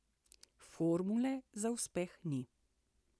Formule za uspeh ni.